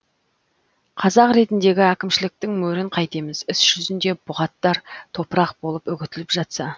қағаз ретіндегі әкімшіліктің мөрін қайтеміз іс жүзінде бұғаттар топырақ болып үгітіліп жатса